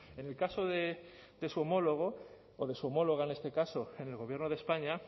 en el caso de su homólogo o de su homóloga en este caso en el gobierno de españa